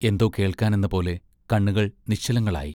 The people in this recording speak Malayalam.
എന്തോ കേൾക്കാനെന്ന പോലെ കണ്ണുകൾ നിശ്ചലങ്ങളായി.